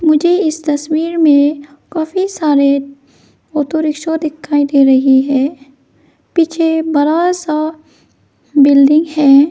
मुझे इस तस्वीर में काफी सारे ऑटो रिक्शा दिखाई दे रही है। पीछे बरा सा बिल्डिंग है।